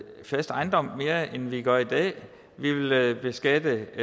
fast ejendom mere end vi gør i dag vi vil beskatte